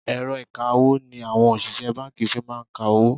Èrọ ìkawó ni àwọn òṣìṣẹ́ báńkì fi máa ń ka owó.